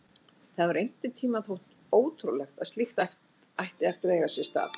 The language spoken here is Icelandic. Það hefði einhvern tímann þótt ótrúlegt að slíkt ætti eftir að eiga sér stað.